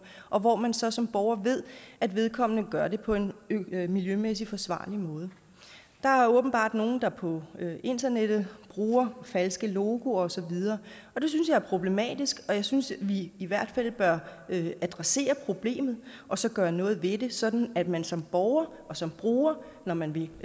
og hvor man så som borger ved at vedkommende gør det på en miljømæssigt forsvarlig måde der er åbenbart nogle der på internettet bruger falske logoer osv og det synes jeg er problematisk jeg synes at vi i hvert fald bør adressere problemet og så gøre noget ved det sådan at man som borger og som bruger når man vil